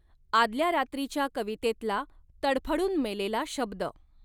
आदल्या रात्रीच्या कवितेतला तडफडून मेलेला शब्द